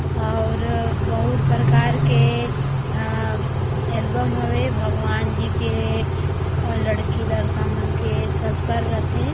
--और बहुत प्रकार के अ एल्बम हवे भगवान जी के और लड़की लड़का मन के सब कर रथे।